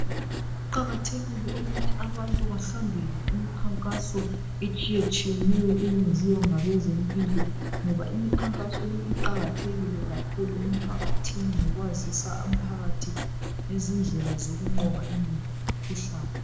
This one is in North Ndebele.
kuqhakathekile ukuthi abantu bahambele imikhankaso etshiyetshiyeneyo eyenziwa ngabezempilo ngoba imikhankaso le iqhakathekile ukuthi abantu behambele emikhankasweni le eyenziwa ngabantu bezempilakahle